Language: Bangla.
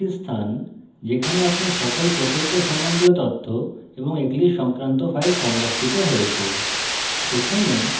workspace একটি স্থান যেখানে আপনার সকল প্রকল্প সম্বন্ধীয় তথ্য এবং eclipse সংক্রান্ত files সংরক্ষিত হয়েছে